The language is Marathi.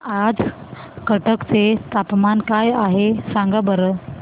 आज कटक चे तापमान काय आहे सांगा बरं